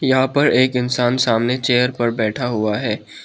यहां पर एक इंसान सामने चेयर पर बैठा हुआ है।